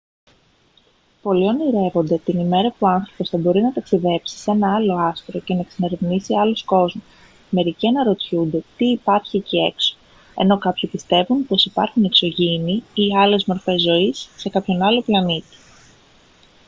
πολλοί ονειρεύονται την ημέρα που ο άνθρωπος θα μπορεί να ταξιδέψει σε ένα άλλο άστρο και να εξερευνήσει άλλους κόσμους μερικοί αναρωτιούνται τι υπάρχει εκεί έξω ενώ κάποιοι πιστεύουν πως υπάρχουν εξωγήινοι ή άλλες μορφές ζωής σε κάποιον άλλο πλανήτη